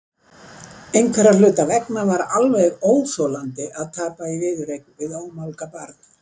Einhverra hluta vegna var alveg óþolandi að tapa í viðureign við ómálga barn.